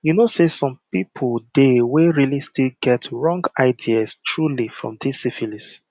you know say some people dey where realy still get wrong ideas truely for this syphilis